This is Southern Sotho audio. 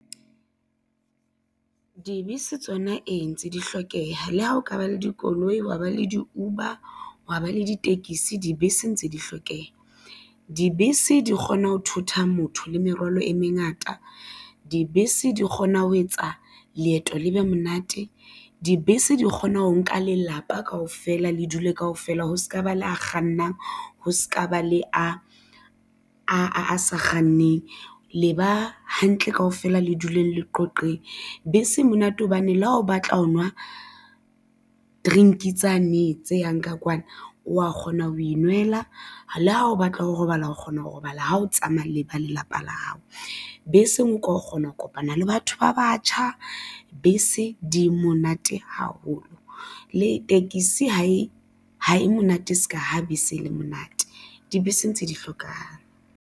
Dibese tsona ee ntse di hlokeha, le ha ho ka ba le dikoloi, hwa ba le di-Uber, hwa ba le ditekisi, dibese ntse di hlokeha. Dibese di kgona ho thotha motho le merwalo e mengata, dibese di kgona ho etsa leeto le be monate, dibese di kgona ho nka lelapa kaofela le dule kaofela ho se ka ba le a kgannang, ho se ka ba le a sa kganneng le ba hantle kaofela, le duleng le qoqeng. Bese e monate hobane le ha o batla ho nwa drink tsane tse yang ka kwana, o wa kgona ho inwella, le ha o batla ho robala ho kgona ho robala ha o tsamaya le ba lelapa la hao, beseng o ka kgona ho kopana le batho ba batjha. Bese di monate haholo, le tekesi ha e ha e monate se ka ha bese le monate, dibese ntse di hlokang.